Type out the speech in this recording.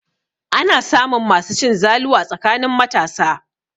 Ana samun masu cin zalu a tsakanin matasa.